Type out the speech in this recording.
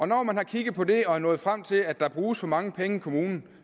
når man har kigget på det og er nået frem til at der bruges for mange penge i kommunen